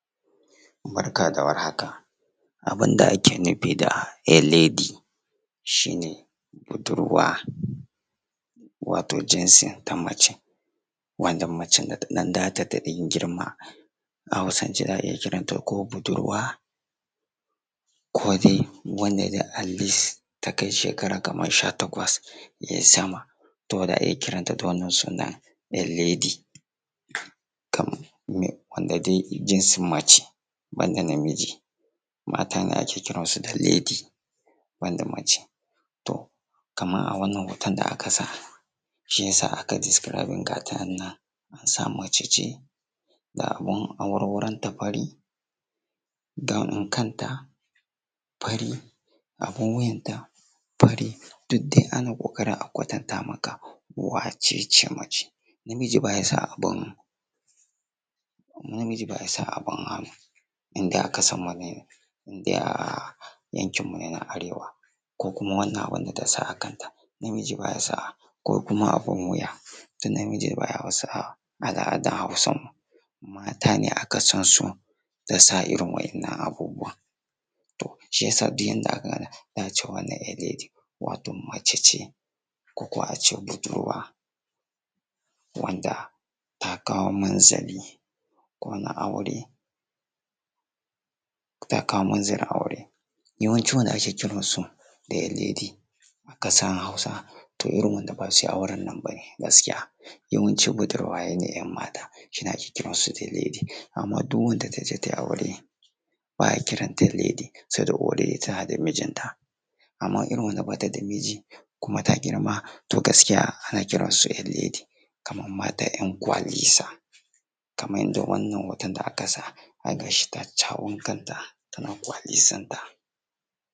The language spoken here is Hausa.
Barka da war haka abun da ake kira a lady wato jinsin ta mace, mace da ta ɗan tasa ta girma. A hausance za a iya kiranta ko budurwa ko dai wanda ta kai atleast ta kai shekara sha takwas ya yi sama za a kiran da wannan suna a lady. Wanda dai jinsin mace ba da namiji mata ne ake kiran shi da lady ban da mace. To kamar a wannan hoton da aka sa shi ya sa aka describing nata sa ma mace ce da abun awarwaronta fari gown din kanta fari abun wuyanta fari. Duk dai ana ƙoƙarin a kwatanta maka wace ce mace, namiji ba ya sa abun hannu indai a ƙasarmu ne yankinmu ne na Arewa ko kuma wannan abunda ta sa akanta namiji ba ya sa abun wuya, namiji ba ya a wa a al'adar Hausawa. Mata ne aka sansu da sa irin waɗannan abubuwan. To duk idan aka gan wannan a za ce a lady wato mace ce ko kuwa a ce budurwa wanda ta kawo munzili ko na aure. Yawanci wanda aka kiransu a lady a ƙasar Hausa irin wanda ba su yi auren nan ba ne gaskiya, yawnci budurwaye ne su ne ake kiransu a lady. Amma duk wanda ta je ta yi aure ba a kiranta lady saboda ta a da mijinta, amma irin wanda ba ta da mijinkuma ta girma to gaskiya ana kiransu a lady yam mata 'yan kwalisa kamar yadda wannan hoto da aka sa. Ga shi ta sha wankanta tana ƙwalisanta.